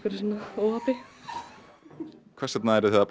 óhappi hvers vegna eruð þið að